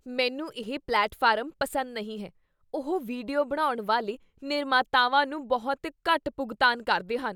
ਮੈਨੂੰ ਇਹ ਪਲੇਟਫਾਰਮ ਪਸੰਦ ਨਹੀਂ ਹੈ। ਉਹ ਵੀਡੀਓ ਬਣਾਉਣ ਵਾਲੇ ਨਿਰਮਾਤਾਵਾਂ ਨੂੰ ਬਹੁਤ ਘੱਟ ਭੁਗਤਾਨ ਕਰਦੇ ਹਨ।